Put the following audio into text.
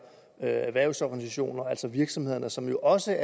erhvervsorganisationer altså virksomhederne som jo også